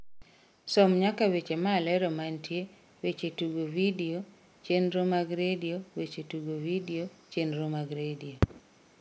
som nyaka weche malero mantie weche tugo vidio chenro mag redio weche tugo vidio chenro mag redio